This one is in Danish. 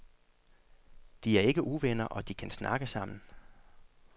De er ikke uvenner og de kan snakke sammen.